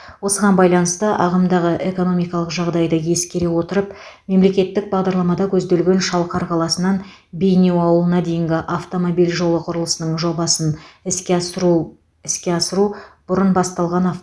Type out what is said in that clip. осыған байланысты ағымдағы экономикалық жағдайды ескере отырып мемлекеттік бағдарламада көзделген шалқар қаласынан бейнеу ауылына дейінгі автомобиль жолы құрылысының жобасын іске асыру іске асыру бұрын басталған